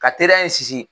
Ka teriya in sinsin